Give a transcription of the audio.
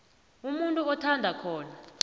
umuntu athanda khona